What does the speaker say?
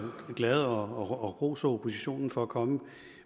glad og roser oppositionen for at komme